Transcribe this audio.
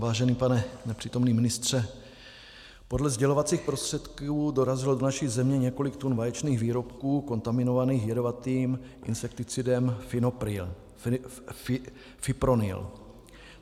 Vážený pane nepřítomný ministře, podle sdělovacích prostředků dorazilo do naší země několik tun vaječných výrobků kontaminovaných jedovatým insekticidem fipronil.